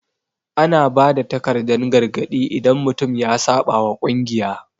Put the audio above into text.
Ana ba da takardan gargadi idan mutum ya saɓa wa kungiya.